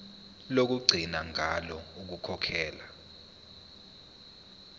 lokugcina ngalo ukukhokhela